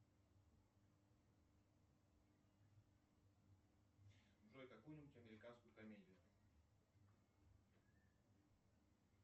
джой какую нибудь американскую комедию